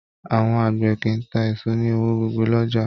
Àwọn àgbẹ̀ kìí tá èso ní ọwọn gogo l'ọjà